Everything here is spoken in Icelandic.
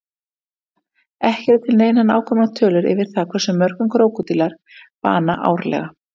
Krókódílar Ekki eru til neinar nákvæmar tölur yfir það hversu mörgum krókódílar bana árlega.